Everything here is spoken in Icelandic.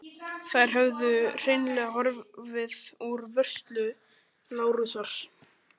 Þær höfðu hreinlega horfið úr vörslu Lárusar.